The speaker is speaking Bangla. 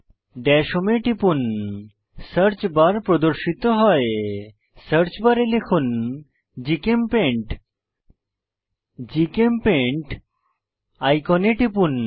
দাশ হোম এ টিপুন সার্চ বার প্রদর্শিত হয় সার্চ বারে লিখুন জিচেমপেইন্ট জিচেমপেইন্ট আইকনে টিপুন